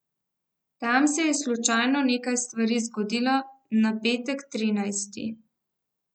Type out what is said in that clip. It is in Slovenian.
Tam se je slučajno nekaj stvari zgodilo na petek trinajsti.